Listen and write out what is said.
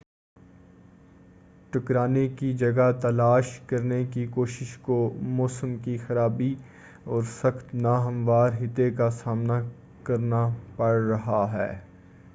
ٹکڑانے کی جگہ تلاش کرنے کی کوشش کو موسم کی خرابی اور سخت ناہموار خطے کا سامنا کرنا پڑ رہا ہے